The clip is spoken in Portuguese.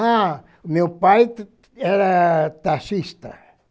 Ah, meu pai era taxista.